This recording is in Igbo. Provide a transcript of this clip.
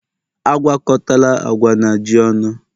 Agwakọtala agwa na ji ọnụ!